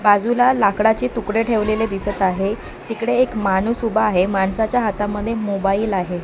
बाजूला लाकडाचे तुकडे ठेवलेले दिसत आहे तिकडे एक माणूस उभा आहे माणसाच्या हातामध्ये मोबाईल आहे.